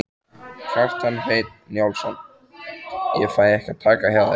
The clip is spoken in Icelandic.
Kjartan Hreinn Njálsson: Ég fæ að taka hjá þér?